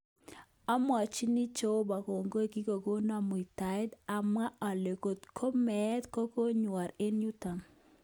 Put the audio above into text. ...Omwochini jeobo kongoi kikonon muitaet, amwa ole kot ko meet konyorwan eng yuton.